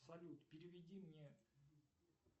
салют переведи мне